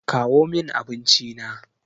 Kawo min abinci na!